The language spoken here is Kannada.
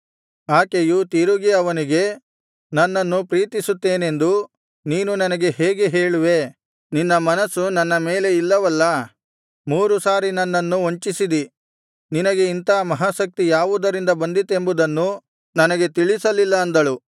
ಆಕೆಯು ತಿರುಗಿ ಅವನಿಗೆ ನನ್ನನ್ನು ಪ್ರೀತಿಸುತ್ತೇನೆಂದು ನೀನು ನನಗೆ ಹೇಗೆ ಹೇಳುವೇ ನಿನ್ನ ಮನಸ್ಸು ನನ್ನ ಮೇಲೆ ಇಲ್ಲವಲ್ಲಾ ಮೂರು ಸಾರಿ ನನ್ನನ್ನು ವಂಚಿಸಿದಿ ನಿನಗೆ ಇಂಥ ಮಹಾ ಶಕ್ತಿ ಯಾವುದರಿಂದ ಬಂದಿತೆಂಬುದನ್ನು ನನಗೆ ತಿಳಿಸಲಿಲ್ಲ ಅಂದಳು